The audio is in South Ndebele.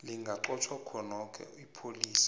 lingaqotjhwa khonokho ipholisa